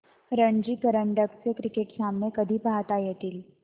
रणजी करंडक चे क्रिकेट सामने कधी पाहता येतील